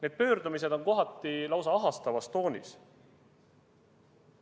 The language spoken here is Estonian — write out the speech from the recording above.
Need pöördumised on kohati lausa ahastavas toonis.